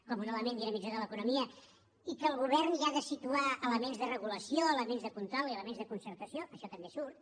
com un element dinamitzador de l’economia i que el govern hi ha de situar elements de regulació elements de control i elements de concertació això també surt